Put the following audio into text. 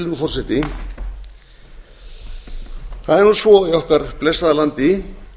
virðulegi forseti það er nú svo í okkar blessaða landi